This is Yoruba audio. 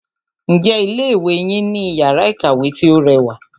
Ǹjẹ́ ilé ìwé yín ní iyàrá ìkàwé tí o rẹwà?